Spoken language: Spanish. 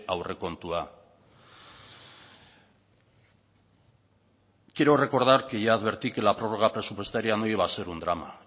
aurrekontua quiero recordar que ya advertí que la prórroga presupuestaria no iba a ser un drama